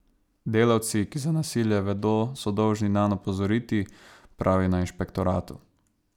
Delavci, ki za nasilje vedo, so dolžni nanj opozoriti, pravijo na inšpektoratu.